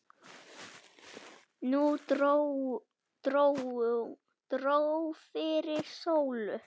Nú dró fyrir sólu.